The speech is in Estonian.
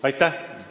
Aitäh!